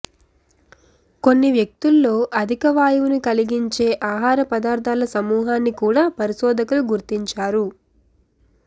కొన్ని వ్యక్తుల్లో అధిక వాయువును కలిగించే ఆహార పదార్థాల సమూహాన్ని కూడా పరిశోధకులు గుర్తించారు